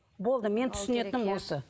болды мен түсінетінім осы